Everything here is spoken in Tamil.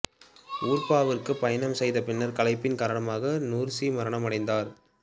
உர்பாவுக்கு பயணம் செய்த பின்னர் களைப்பின் காரணமாக நுர்சி மரணமடைந்தார்